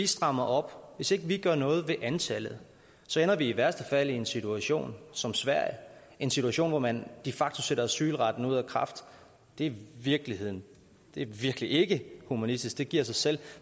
strammer op hvis vi ikke gør noget ved antallet så ender vi i værste fald i en situation som sverige en situation hvor man de facto har sat asylretten ud af kraft det er virkeligheden det er virkelig ikke humanistisk det giver sig selv